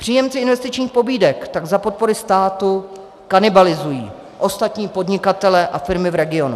Příjemci investičních pobídek tak za podpory státu kanibalizují ostatní podnikatele a firmy v regionu.